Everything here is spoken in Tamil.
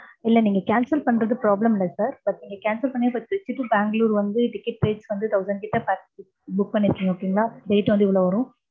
இல்ல நீங்க cancel பண்றது problem இல்ல sir but நீங்க cancel பன்னி அத distribute பேங்களூர் வந்து ticket price வந்து thousand கிட்ட book பன்னிருகிங்க. okay ங்கலா. rate வந்து இவ்ளோ வரும்.